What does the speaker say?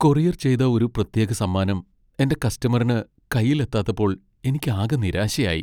Courier ചെയ്ത ഒരു പ്രത്യേക സമ്മാനം എന്റെ കസ്റ്റമറിന് കൈയിൽ എത്താത്തപ്പോൾ എനിക്കാകെ നിരാശയായി.